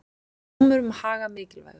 Dómur um Haga mikilvægur